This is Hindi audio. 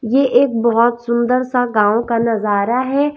ये एक बहोत सुंदर सा गांव का नजारा है।